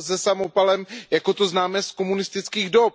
se samopalem, jako to známe z komunistických dob.